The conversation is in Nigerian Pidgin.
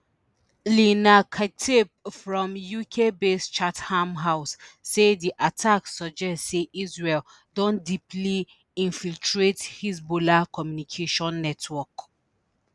lina khatib from ukbased chatham house say di attack suggest say israel don deeply infiltrate hezbollah communications network